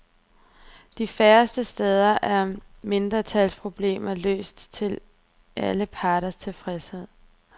De færreste steder er mindretalsproblemer løst til alle parters tilfredshed.